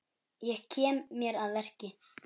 Ég kem mér að verki.